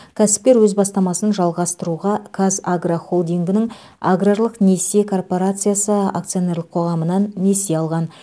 кәсіпкер өз бастамасын жалғастыруға қазагро холдингінің аграрлық несие коорпорациясы акционерлік қоғамынан несие алған